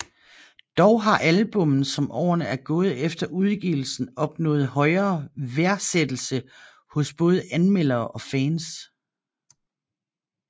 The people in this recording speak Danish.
Dog har albummet som årene er gået efter udgivelsen opnået højere værdsættelse hos både anmeldere og fans